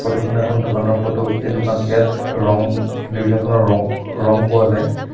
Photo খন এখন দোকানৰ ফটো এই দুকান ইয়াত ৰং বিভিন্ন ধৰণৰ ৰ ৰং পোৱা যায়।